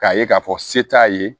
K'a ye k'a fɔ se t'a ye